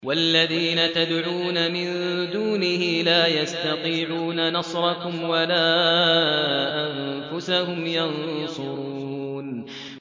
وَالَّذِينَ تَدْعُونَ مِن دُونِهِ لَا يَسْتَطِيعُونَ نَصْرَكُمْ وَلَا أَنفُسَهُمْ يَنصُرُونَ